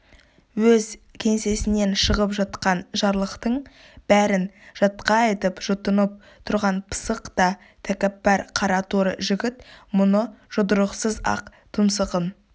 өз кеңсесінен шығып жатқан жарлықтың бәрін жатқа айтып жұтынып тұрған пысық та тәкаппар қараторы жігіт мұны жұдырықсыз-ақ тұмсығын